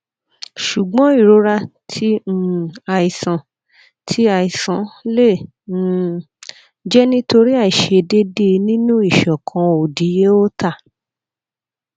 ṣugbọn irora ti um aisan ti aisan le um jẹ nitori aiṣedede ninu iṣọkan odi aorta